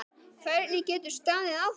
Hvernig getur staðið á þessu.